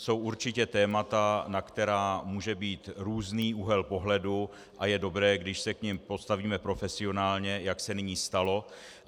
Jsou určitě témata, na která může být různý úhel pohledu, a je dobré, když se k nim postavíme profesionálně, jak se nyní stalo.